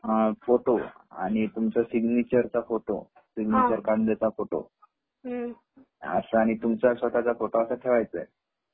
Photo आणि तुमचे signature चा फोटो सिगनिचर काढल्याचा फोटो असा आणि तुमचा स्वतः चा असा एक फोटो ठेवायचा आहे.